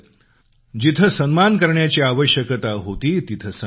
जिथं सन्मान करण्याची आवश्यकता होती तिथं सन्मान केला